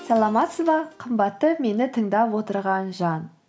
саламатсыз ба қымбатты мені тыңдап отырған жан